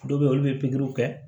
Dɔw bɛ yen olu bɛ pikiriw kɛ